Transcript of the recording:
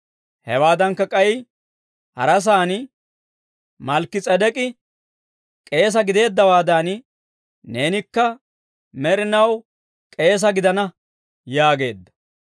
Hewaadankka k'ay harasaan, «Malkki-S'edek'k'i k'eesa gideeddawaadan, neenikka med'inaw k'eesa gidana» yaageedda.